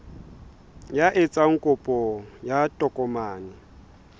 ya etsang kopo ya tokomane